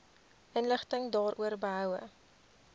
inligting daaroor behoue